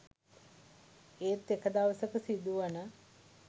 ඒත් එක දවසක සිදුවන